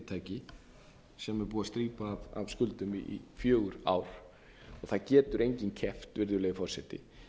fyrirtæki sem er búið að strípa af skuldum í fjögur ár og það getur enginn keppt virðulegi forseti